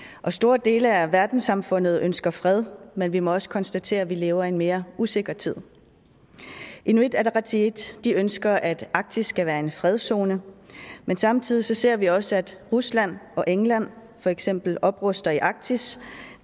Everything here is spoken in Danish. store dele af verdenssamfundet ønsker fred men vi må også konstatere at vi lever i en mere usikker tid inuit ataqatigiit ønsker at arktis skal være en fredszone men samtidig ser vi også at rusland og england for eksempel opruster i arktis